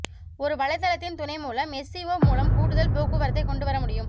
ஒரு வலைத்தளத்தின் துணைமூலம் எஸ்சிஓ மூலம் கூடுதல் போக்குவரத்தை கொண்டு வர முடியும்